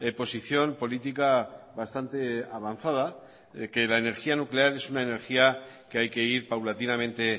posición política bastante avanzada de que la energía nuclear es una energía que hay que ir paulatinamente